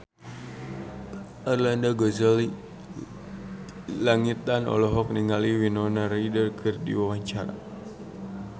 Arlanda Ghazali Langitan olohok ningali Winona Ryder keur diwawancara